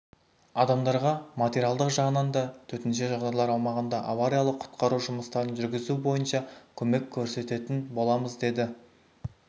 адамдарға материалдық жағынан да төтенше жағдайлар аумағында авариялық-құтқару жұмыстарын жүргізу бойынша көмек көрсететін боламыз деді